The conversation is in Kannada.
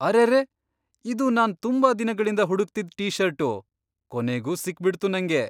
ಅರೆರೇ! ಇದು ನಾನ್ ತುಂಬಾ ದಿನಗಳಿಂದ ಹುಡುಕ್ತಿದ್ ಟೀಷರ್ಟು! ಕೊನೆಗೂ ಸಿಕ್ಬಿಡ್ತು ನಂಗೆ!